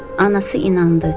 Anası inandı.